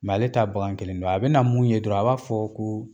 ale t'a bagan kelen dɔn. A bɛna mun ye dɔrɔn a b'a fɔ ko